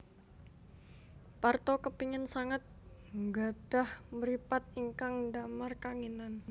Parto kepingin sanget nggadhah mripat ingkang ndamar kanginan